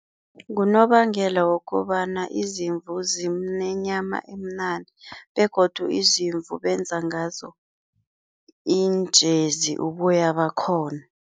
Ngunobangela wokobana izimvu zinenyama emnandi begodu izimvu benza ngazo iinjezi, uboya bakhona.